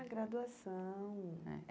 Ah, graduação!É